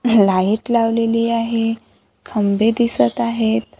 Light लावलेली आहे खंबे दिसत आहेत.